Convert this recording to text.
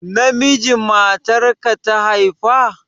Namiji matarka ta haifa?